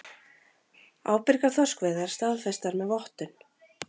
Ábyrgar þorskveiðar staðfestar með vottun